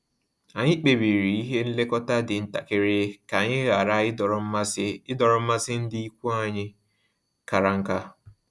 Anyị kpebiri ihe nlekọta dị ntakịrị ka anyị ghara idọrọ mmasị idọrọ mmasị ndị ikwu anyị kara nka